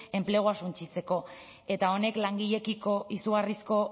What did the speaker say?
enplegua suntsitzeko eta honek langileekiko izugarrizko